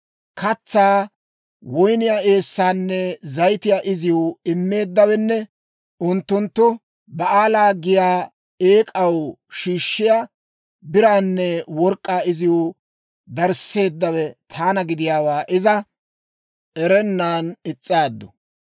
«Katsaa, woyniyaa eessaanne zayitiyaa iziw immeeddawenne unttunttu Ba'aala giyaa eek'aw shiishshiyaa biraanne work'k'aa iziw darisseeddawe taana gidiyaawaa iza erennan is's'aaddu.